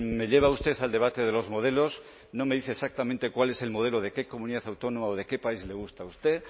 me lleva usted al debate de los modelos no me dice exactamente cuál es el modelo de qué comunidad autónoma o de qué país le gusta a usted